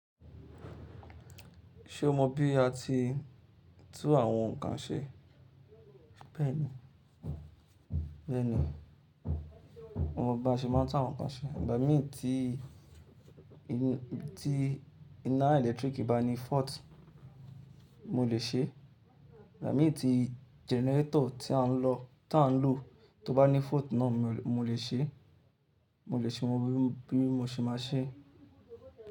Ṣe o mọ bi a ti n tún àwọn nǹkan ṣe? Bẹ́ẹ̀ni, bẹ́ẹ̀ni. Mo mo bi a se máa ń tún àwọn nǹkan ṣe. Nigha mii tí iná ẹ̀lẹ́tíríkì bá ní fault mo lè ṣe é. Igbamii tí gẹnẹretọ̀ tí a ń lò tó bá ní fault náà mo lè ṣe é. Mo lè ṣe wọn bí mo ṣe máa ṣe é.